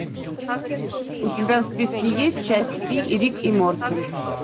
у тебя в списке есть часть три рик и морти